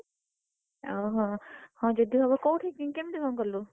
ଓ ହୋ ହଉ ଯଦି ହବ କଉଠି କେମିତି କଣ କଲୁ?